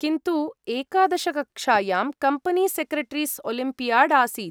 किन्तु एकादश कक्षायां कम्पनी सेक्रेटरीस् ओलिम्बियाड् आसीत्।